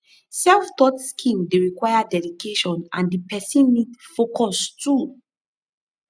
self taught skill de require dedication and di persin need focus too